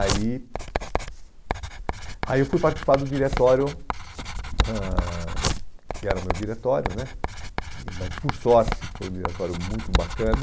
Aí aí eu fui participar do diretório, ãh que era o meu diretório né, e mas, por sorte, foi um diretório muito bacana.